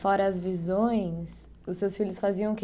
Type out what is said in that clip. Fora as visões, os seus filhos faziam o que?